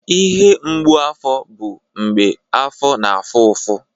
Ihe mgbu afọ bụ mgbe afọ na-afụ ụfụ.